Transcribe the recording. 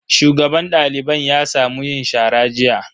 Shugaban daliban ya sa mu yin shara jiya.